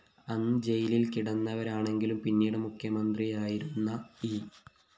അന്ന് ജയിലില്‍ കിടന്നവരാണെങ്കിലും പിന്നീട് മുഖ്യമന്ത്രിയായിരുന്ന ഇ